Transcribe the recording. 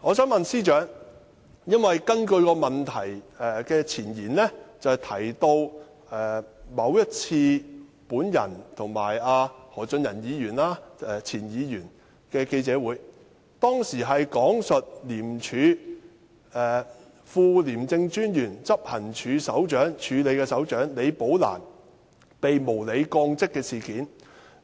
我想問司長，因為這項質詢的前言提到某一次我和前議員何俊仁的記者會，當時講述廉署副廉政專員，署理執行處首長李寶蘭被無理降職事件，